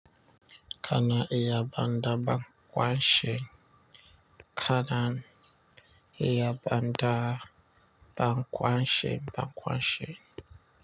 Kana iya banda bakwanshen, kanan iya banda bakwanshen bakwanshen.